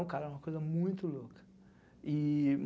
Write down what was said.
O cara era uma coisa muito louca. E